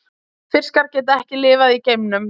fiskar geta ekki lifað í geimnum